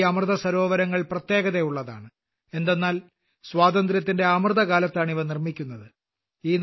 നമ്മുടെ ഈ അമൃതസരോവരങ്ങൾ പ്രത്യേകതയുള്ളതാണ് എന്തെന്നാൽ സ്വാതന്ത്ര്യത്തിന്റെ അമൃതകാലത്താണ് ഇവ നിർമ്മിക്കുന്നത്